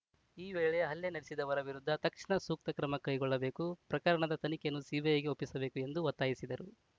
ಈ ವೇಳೆ ಹಲ್ಲೆ ನಡೆಸಿದವರ ವಿರುದ್ಧ ತಕ್ಷಣ ಸೂಕ್ತ ಕ್ರಮ ಕೈಗೊಳ್ಳಬೇಕು ಪ್ರಕರಣದ ತನಿಖೆಯನ್ನು ಸಿಬಿಐಗೆ ಒಪ್ಪಿಸಬೇಕು ಎಂದು ಒತ್ತಾಯಿಸಿದರು